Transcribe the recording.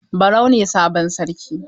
Barau ne sabon Sarki.